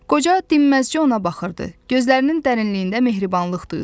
Qoca dinməzcə ona baxırdı, gözlərinin dərinliyində mehribanlıq duyulurdu.